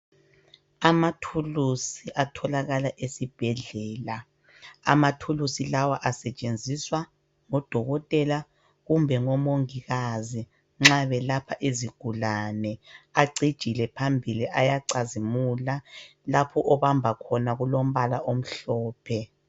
Amathulusi atholakala esibhedlela. Amathulisi lawa asetshenziswa ngodokotela kumbe omongikazi nxa belapha izigulani. Acijile phambili ayacazimula. Lapho obamba khona kulombala omhlophe.